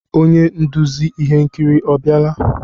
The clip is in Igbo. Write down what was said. Onye nduzi ihe nkiri ọ biala?